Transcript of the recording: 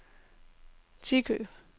Tikøb